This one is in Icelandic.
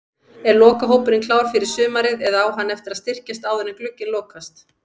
Er lokahópurinn klár fyrir sumarið eða á hann eftir að styrkjast áður en glugginn lokast?